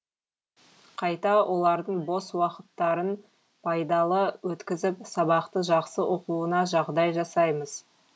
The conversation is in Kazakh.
қайта олардың бос уақыттарын пайдалы өткізіп сабақты жақсы оқуына жағдай жасаймыз